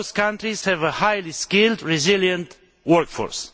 Both countries have a highly skilled resilient workforce.